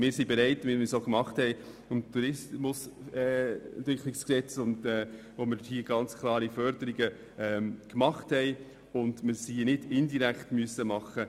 Wir sind bereit, etwas zu tun, wie wir das auch beim Tourismusentwicklungsgesetz getan haben, als wir ganz klare Förderungen gemacht haben und wir diese nicht indirekt machen mussten.